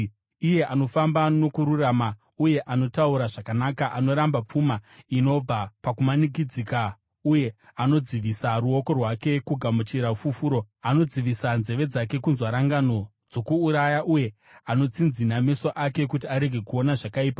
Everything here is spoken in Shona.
Iye anofamba nokururama uye anotaura zvakanaka, anoramba pfuma inobva pakumanikidza uye anodzivisa ruoko rwake kugamuchira fufuro, anodzivisa nzeve dzake kunzwa rangano dzokuuraya, uye anotsinzina meso ake kuti arege kuona zvakaipa,